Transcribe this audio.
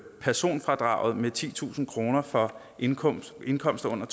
personfradraget med titusind kroner for indkomster indkomster under